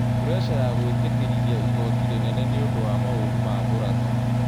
Puresha ya gũĩtekerithia igoti rĩnene nĩ ũndo wa maoru maMũrang'a